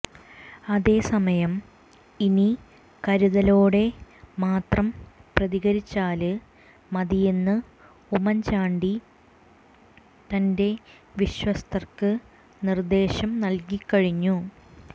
അതേസമയം ഇനി കരുതലോടെ മാത്രം പ്രതികരിച്ചാല് മതിയെന്ന് ഉമ്മന്ചാണ്ടി തന്റെ വിശ്വസ്തര്ക്ക് നിര്ദ്ധേശം നല്കി കഴിഞ്ഞു